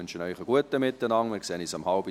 Ich wünsche Ihnen einen guten Appetit.